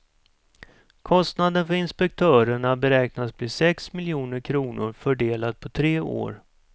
Kostnaden för inspektörerna beräknas bli sex miljoner kronor fördelat på tre år.